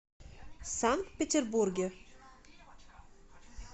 санкт петербурге